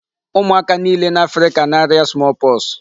Ụmụaka niile n'Africa na-aria small pox.